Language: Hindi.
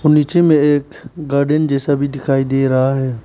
नीचे में एक गार्डन जैसा भी दिखाई दे रहा है।